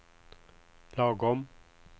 lagom